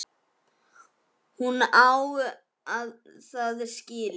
Hún á það skilið.